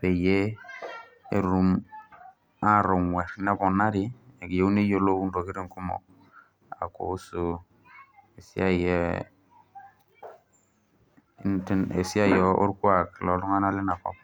peyie aatonguar neponari eyieu neyiolou oleng orkuak llontunganak leina kop.